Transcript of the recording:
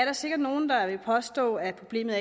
er sikkert nogen der vil påstå at problemet